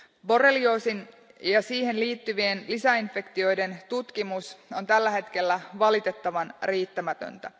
Borrelioosin ja siihen liittyvien lisäinfektioiden tutkimus on tällä hetkellä valitettavan riittämätöntä.